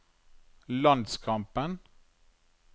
landskampen